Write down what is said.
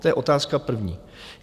To je otázka první.